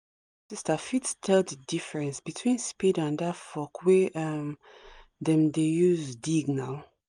small sister fit tell the difference between spade and that fork wey um dem dey use dig now